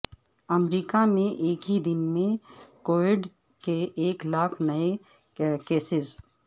امریکہ میں ایک ہی دن میں کووڈ کے ایک لاکھ نئے کیسز